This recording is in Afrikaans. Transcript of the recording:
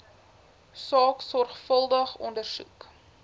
saak sorgvuldig ondersoek